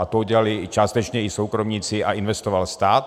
A to udělali částečně i soukromníci a investoval stát.